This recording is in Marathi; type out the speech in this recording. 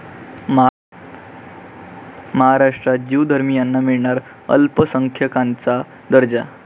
महाराष्ट्रात ज्यू धर्मियांना मिळणार अल्पसंख्याकांचा दर्जा